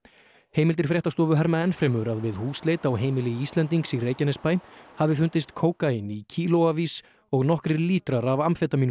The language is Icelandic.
heimildir fréttastofu herma enn fremur að við húsleit á heimili Íslendings í Reykjanesbæ hafi fundist kókaín í og nokkrir lítrar af